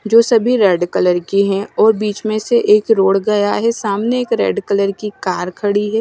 जो सभी red colour की है और बीच में से एक रोड गया है सामने एक रेड कलर की कार खड़ी है।